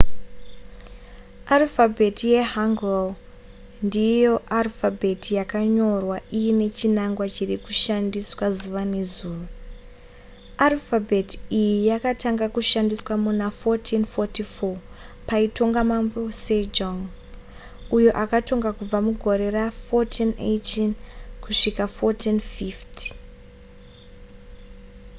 arufabheti yehanguel ndiyo chete arufabheti yakanyorwa iine chinangwa chiri kushandiswa zuva nezuva. arufabheti iyi yakatanga kushandiswa muna 1444 paitonga mambo sejong uyo akatonga kubva mugore ra1418 kusvika 1450